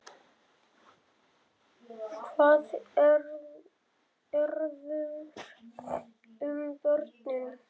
Hvað verður um börnin?